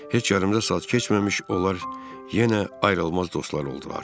Heç yarım da saat keçməmiş onlar yenə ayrılmaz dostlar oldular.